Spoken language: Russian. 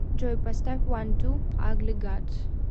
джой поставь ван ту агли гад